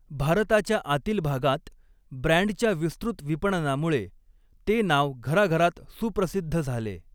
भारताच्या आतील भागांत ब्रँडच्या विस्तृत विपणनामुळे ते नाव घराघरात सुप्रसिद्ध झाले.